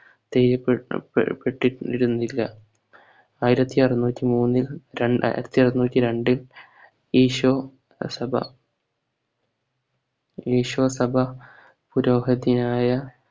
ചെയ്യപെട്ടു ഏർ പെട്ടിറ്റിരുന്നി ല്ല ആയിരത്തി അറുന്നൂറ്റി മൂന്നിൽ രണ്ടായിരത്തി അറുന്നൂറ്റി രണ്ടിൽ ഈശോ സഭ ഈശോ സഭ പുരോഹതിയായ